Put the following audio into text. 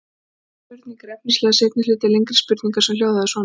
Þessi spurning er efnislega seinni hluti lengri spurningar sem hljóðaði svona: